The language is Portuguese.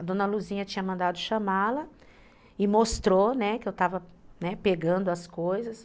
A dona Luzia tinha mandado chamá-la e mostrou, né, que eu estava pegando as coisas.